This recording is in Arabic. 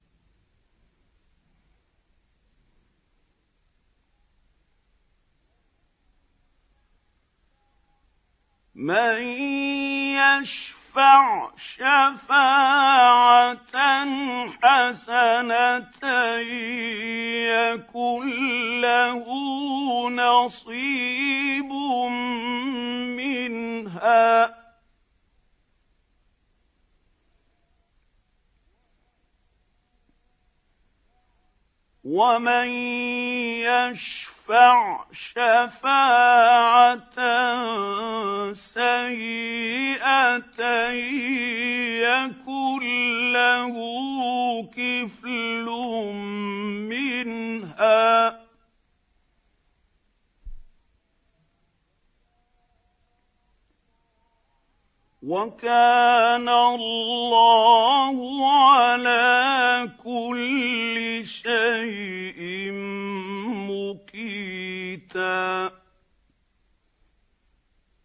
مَّن يَشْفَعْ شَفَاعَةً حَسَنَةً يَكُن لَّهُ نَصِيبٌ مِّنْهَا ۖ وَمَن يَشْفَعْ شَفَاعَةً سَيِّئَةً يَكُن لَّهُ كِفْلٌ مِّنْهَا ۗ وَكَانَ اللَّهُ عَلَىٰ كُلِّ شَيْءٍ مُّقِيتًا